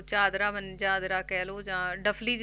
ਚਾਦਰਾ ਮ~ ਚਾਦਰਾ ਕਹਿ ਲਓ ਜਾਂ ਡਫ਼ਲੀ